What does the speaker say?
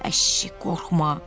Əşi, qorxma!